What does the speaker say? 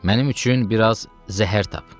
Mənim üçün biraz zəhər tap.